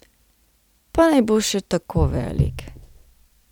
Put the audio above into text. Pa naj bo še tako velik.